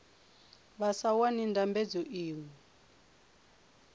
vha sa wani ndambedzo iṅwe